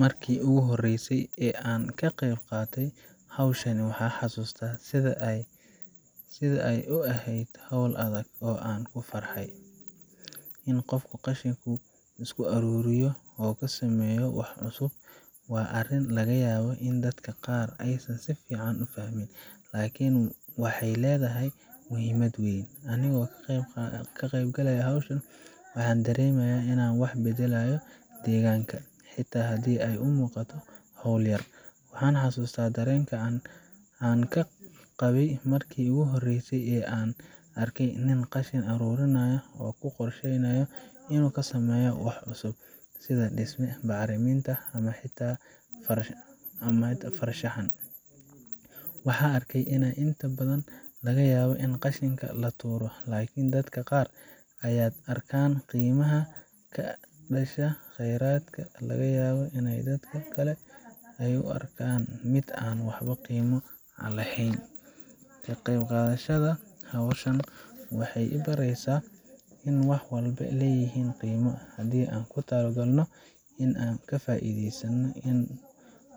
Marki igu horeysay oo an qeyb qatoo howshan waxan hasusta sidhaa ay u ehed howl adag oo an u farhay .In qofku isku aruriyo qashinka oo kasumeyo wax adag waa arin layableh oo dadka aysan si fican u fahmin. Lakin waxey ledahay muhimad weyn anigo ka qeyb galaya howshan wahan badalaya howl weyn waxan hasusta darenkaa an kaqabay marki igu horesaa an arko nin qashin arurinayo .Kaso qorsheynayo inu kasumeyo wax cusub sidha bacriminta ,dhismaha guriga iyo maxan arkey ini inta badan laga yabo ini qashinka laturo ama dadka qaar aya arkan qimaha mesha ama qeyradka laga helo ,laga yabo dadka kale iney u arkan mid an qimo laheyn .Ka qeyb qadashada howshan waxey i baresa in wax walbo ay leyihin qimo hadi an kutalo qalno ini an kafaideysano